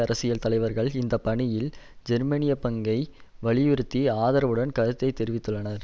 அரசியல் தலைவர்கள் இந்த பணியில் ஜேர்மனியப் பங்கை வலியுறுத்தி ஆதரவுடன் கருத்து தெரிவித்துள்ளனர்